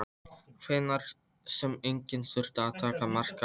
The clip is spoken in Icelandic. Einhver sem enginn þurfti að taka mark á.